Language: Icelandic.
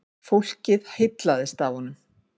Fólk heillaðist af honum.